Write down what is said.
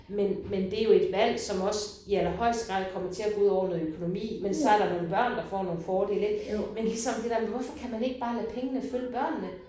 Men men det jo et valgt som også i allerhøjeste grad kommer til at gå udover noget økonomi men så er der nogle børn der får nogle fordele ik. Men ligesom det der med hvorfor kan man ikke bare lade pengene følge børnene?